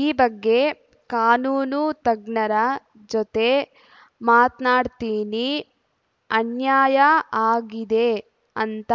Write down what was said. ಈ ಬಗ್ಗೆ ಕಾನೂನು ತಜ್ಞರ ಜೊತೆ ಮಾತಾಡ್ತೀನಿ ಅನ್ಯಾಯ ಆಗಿದೆ ಅಂತ